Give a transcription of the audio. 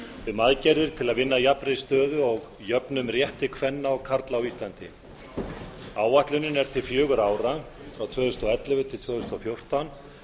um aðgerðir til að vinna að jafnri stöðu og jöfnum rétti kvenna og karla á íslandi áætlunin er til fjögurra ára frá tvö þúsund og ellefu til tvö þúsund og fjórtán